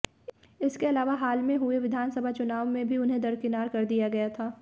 इसके अलावा हाल में हुए विधानसभा चुनाव में भी उन्हें दरकिनार कर दिया गया था